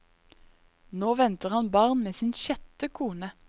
Nå venter han barn med sin sjette kone.